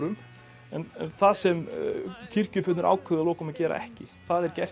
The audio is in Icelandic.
en það sem kirkjufeðurnir ákváðu að lokum að gera ekki það er gert í